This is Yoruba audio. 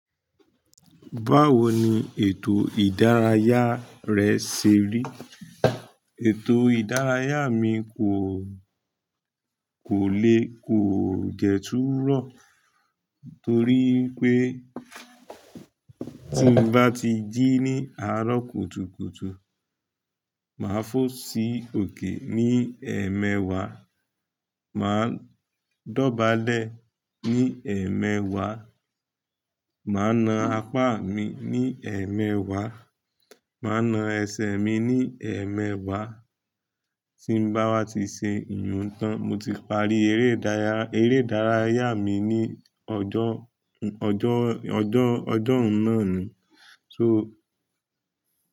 Báwo ni ètò ìdárayá rẹ ṣe rí? Ètò ìdárayá mi kò, kò le, kò jẹ tu rọ, torí pé tí mo bá ti jí ní àárọ̀ kùtùkùtù, màá fobsí òkè ní ẹ̀mẹwàá, màá dọ̀bálẹ̀ ní ẹ̀mẹwàá, màá na apá mi ní ẹ̀mẹwàá, màá na ẹsẹ̀ mi ní ẹ̀mẹwàá, tí n bá wa ti ṣe iyùn tán, mo ti parí ere idaraya eré ìdárayá mi ní ọjọ́, ọjọ́, ọjọ́, ọjọ́ún naa nu. So.